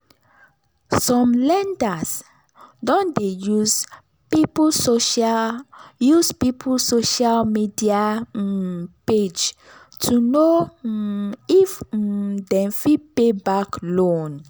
some lenders don dey use people social use people social media um page to know um if um dem fit pay back loan.